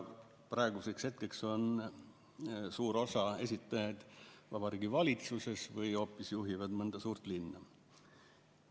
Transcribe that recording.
Praeguseks on suur osa esitajaid juba Vabariigi Valitsuses või hoopis juhivad mõnda suurt linna.